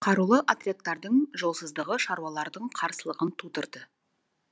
қарулы отрядтардың жолсыздығы шаруалардың қарсылығын тудырды